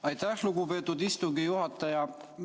Aitäh, lugupeetud istungi juhataja!